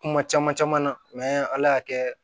Kuma caman caman na ala y'a kɛ